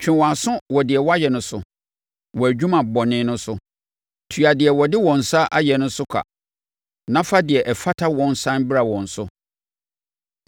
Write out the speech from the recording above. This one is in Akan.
Twe wɔn aso wɔ deɛ wɔayɛ no so; wɔn adwuma bɔne no so; tua deɛ wɔde wɔn nsa ayɛ so ka na fa deɛ ɛfata wɔn sane bra wɔn so.